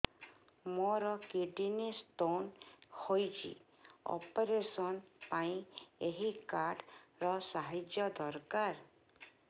ମୋର kidney stone ହଇଛି operation ପାଇଁ ଏହି କାର୍ଡ ର ସାହାଯ୍ୟ ଦରକାର